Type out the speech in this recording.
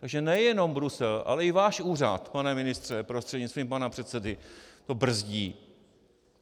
Tak nejenom Brusel, ale i váš úřad, pane ministře prostřednictvím pana předsedy, to brzdí.